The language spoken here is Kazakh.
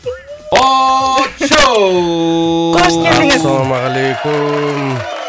очоу қош келдіңіз ассалаумағалейкум